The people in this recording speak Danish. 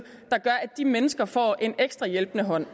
de mennesker får en ekstra hjælpende hånd